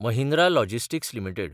Mahindra logistics limited